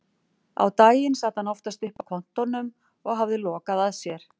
Á daginn sat hann oftast uppi á kontórnum og hafði lokað að sér.